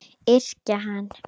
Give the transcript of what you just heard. Yrkja hann!